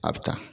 A bɛ taa